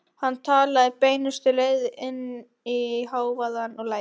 Hann talaði beinustu leið inn í hávaðann og lætin.